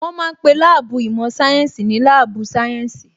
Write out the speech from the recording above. Wọ́n ma ń pe láàbù īmò sáyénsī ní láàbù sáyẹ́ǹsì